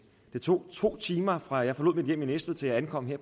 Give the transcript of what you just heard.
det tog to timer fra jeg forlod mit hjem i næstved til jeg ankom her